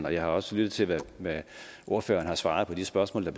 og jeg har også lyttet til hvad ordføreren har svaret på de spørgsmål der